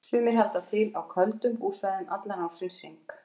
Sumir halda til á köldum búsvæðum allan ársins hring.